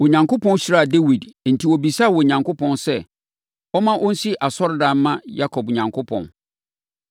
Onyankopɔn hyiraa Dawid enti ɔbisaa Onyankopɔn sɛ ɔmma ɔnsi asɔredan mma Yakob Onyankopɔn.